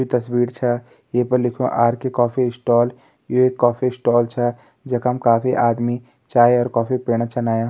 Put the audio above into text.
ये तस्वीर छ ये पर लिख्युं आर.के. कॉफी स्टाल यू एक कॉफी स्टाल छा जखम काफी आदमी चाय और कॉफी पिण छ आयां।